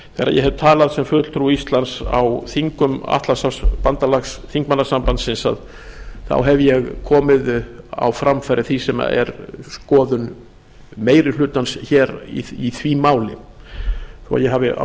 hef talað sem fulltrúi íslands á þingum þingmannasambands atlantshafsbandalagsins hef ég komið á framfæri því sem er skoðun meiri hlutans hér í því máli þó að ég hafi á